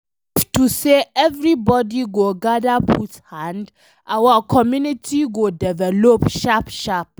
If to say everybody go gadir put hand, our community go develop sharp sharp